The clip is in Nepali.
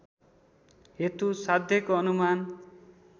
हेतु साध्यको अनुमान